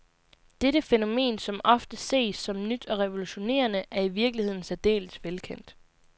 Dette fænomen, som ofte ses som nyt og revolutionerende, er i virkeligheden særdeles velkendt.